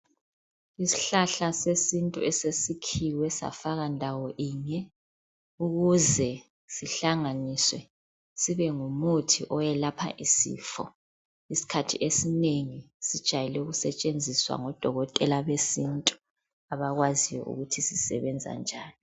Isihlahla sesintu ,esesikhiwe safakwa ndawo inye .Ukuze sihlanganiswe ,sibe ngumuthi oyelapha isifo. Isikhathi esinengi sijayele ukusetshenziswa ngodokothela besintu abakwaziyo ukuthi sisebenza njani.